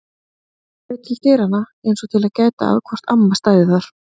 Hún leit til dyranna eins og til að gæta að hvort amma stæði þar.